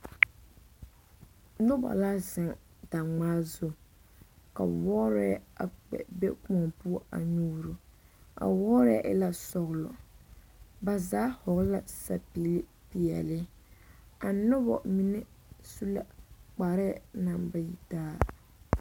Nona la zeŋ daŋmaa zu ka wɔɔrɛɛ a kpɛ be Kóɔ poɔ a nyuuro a wɔɔrɛɛ e la sɔgelɔ ba zaa hɔgele la zapili pɛele a noba mine su la kparɛɛ naŋ ba yi taa